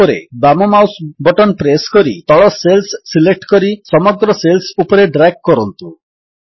ତାପରେ ବାମ mouse button press କରି ତଳ ସେଲ୍ସ ସିଲେକ୍ଟ କରି ସମଗ୍ର ସେଲ୍ସ ଉପରେ ଡ୍ରାଗ୍ କରନ୍ତୁ